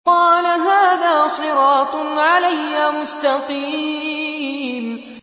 قَالَ هَٰذَا صِرَاطٌ عَلَيَّ مُسْتَقِيمٌ